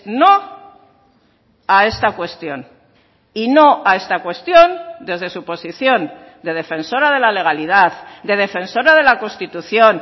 no a esta cuestión y no a esta cuestión desde su posición de defensora de la legalidad de defensora de la constitución